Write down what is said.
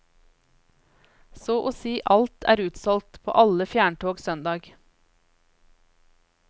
Så og si alt er utsolgt på alle fjerntog søndag.